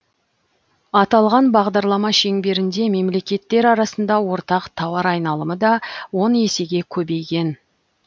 аталған бағдарлама шеңберінде мемлекеттер арасында ортақ тауар айналымы да он есеге көбейген